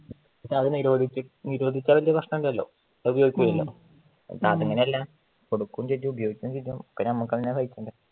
അത് നിരോധിച്ചാൽ വല്യ പ്രശ്നമില്ലല്ലോ അത് ഉപയോഗിക്കൂലല്ലോ അതങ്ങനല്ല കൊടുക്കുവേം ചെയ്യും ഉപയോഗിക്കുവേം ചെയ്യും പിന്നെ നമ്മള് തന്നെയല്ലേ സഹിക്കേണ്ട